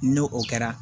N'o o kɛra